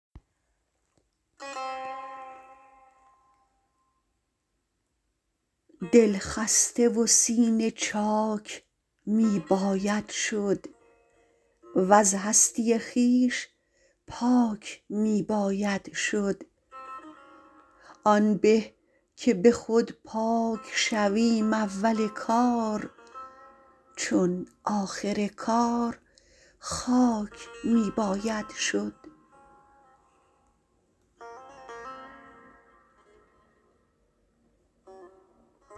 دلخسته و سینه چاک می باید شد وز هستی خویش پاک می باید شد آن به که به خود پاک شویم اول کار چون آخر کار خاک می باید شد